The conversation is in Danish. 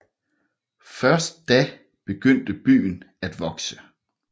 Først da begyndte byen at vokse